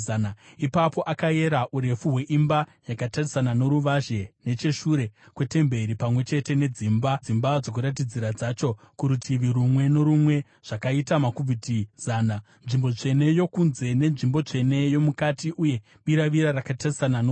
Ipapo akayera urefu hweimba yakatarisana noruvazhe necheshure kwetemberi, pamwe chete nedzimba dzokuratidzira dzacho kurutivi rumwe norumwe; zvakaita makubhiti zana. Nzvimbo tsvene yokunze, nenzvimbo tsvene yomukati uye biravira rakatarisana noruvazhe,